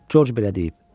Corc belə deyib.